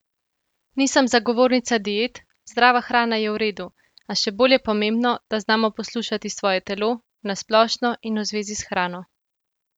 Nisem zagovornica diet, zdrava hrana je v redu, a še bolj je pomembno, da znamo poslušati svoje telo, na splošno in v zvezi s hrano.